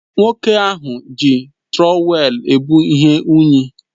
Nwoke ahụ na-eji Trọwèlu ebu ihe unyi